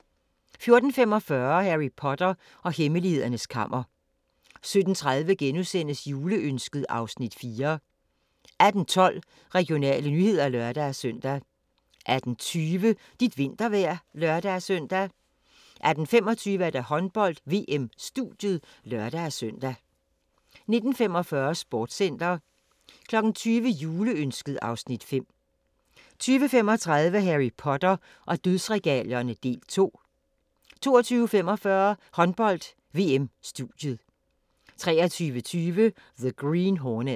14:45: Harry Potter og hemmelighedernes kammer 17:30: Juleønsket (Afs. 4)* 18:12: Regionale nyheder (lør-søn) 18:20: Dit vintervejr (lør-søn) 18:25: Håndbold: VM - studiet (lør-søn) 19:45: Sportscenter 20:00: Juleønsket (Afs. 5) 20:35: Harry Potter og dødsregalierne – del 2 22:45: Håndbold: VM - studiet 23:20: The Green Hornet